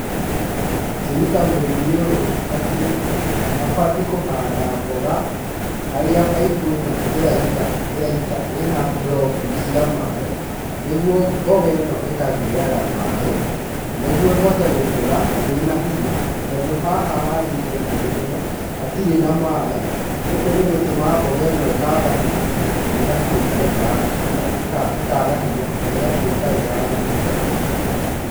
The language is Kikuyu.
Ngĩruta mũrĩmi ũyũ atĩ abatiĩ kũhanda mboga, harĩa baibu eno eraita ena drop cia maĩ nĩguo mboga eno ĩkagĩaga maĩ, nĩguo ĩhote gũkora, ena hinya tondũ haha handete mboga ĩyo, hatirĩ na maĩ gũkũ nĩ gũtũmaga mboga eno ĩkaga hinya na egatueka ĩ ya gũbutha.